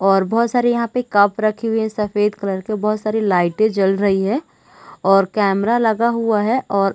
और बहुत सारे यहाँ पर कप रखी हुई है सफेद कलर के बहुत सारी लाइटे जल रही है। और कैमरा लगा हुआ है और--